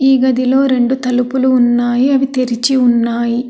ఈ గదిలో రెండు తలుపులు ఉన్నాయి అవి తెరిచి ఉన్నాయి.